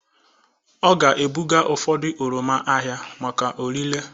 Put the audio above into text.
Ọ ga-ebuga ụfọdụ oroma ahịa maka orịre.